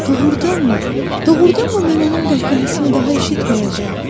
“Doğrudanmı, doğrudanmı mən onun qəhqəhəsini daha eşitməyəcəyəm?